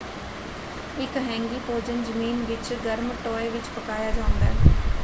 ਇੱਕ ਹੈਂਗੀ ਭੋਜਨ ਜ਼ਮੀਨ ਵਿੱਚ ਗਰਮ ਟੋਏ ਵਿੱਚ ਪਕਾਇਆ ਜਾਂਦਾ ਹੈ।